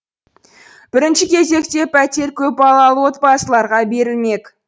бірінші кезекте пәтер көпбалалы отбасыларға берілмек